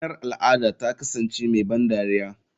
Ranar al'ada ta kasance mai ban dariya.